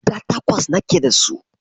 Guda takwas nake dasu.